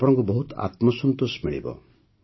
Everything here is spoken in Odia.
ଆପଣଙ୍କୁ ବହୁତ ଆତ୍ମସନ୍ତୋଷ ମିଳିବ